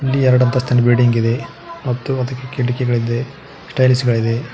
ಇಲ್ಲಿ ಎರಡಂತಸ್ತಿನ ಬಿಲ್ಡಿಂಗ್ ಇದೆ ಮತ್ತು ಅದಕ್ಕೆ ಕಿಟಕಿಗಳಿದೆ ಸ್ಟೈಲ್ಸ್ ಗಳಿದೆ.